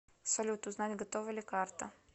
салют узнать готова ли карта